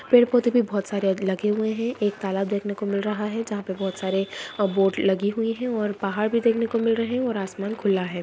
पेड़-पौधे भी बहुत सारे लगे हुए हैं एक तालाब देखने को मिल रहा है जहां पे बहुत सारे बोट लगी हुई हैं और पहाड़ भी देखने को मिल रहे हैं और आसमान खुला है।